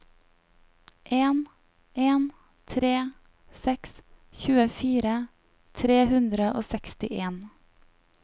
en en tre seks tjuefire tre hundre og sekstien